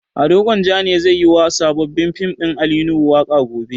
Ado Gwanjan ne zai yi wa sabon fim ɗin Ali Nuhu waƙa gobe.